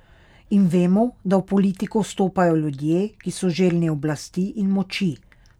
In vemo, da v politiko stopajo ljudje, ki so željni oblasti in moči.